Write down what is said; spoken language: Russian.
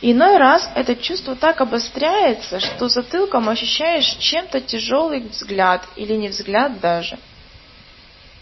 иной раз это чувство так обостряется что затылком ощущаешь чем-то тяжёлый взгляд или не взгляд даже